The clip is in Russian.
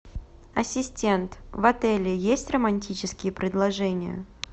ассистент в отеле есть романтические предложения